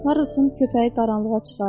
Karrosun köpəyi qaranlığa çıxardı.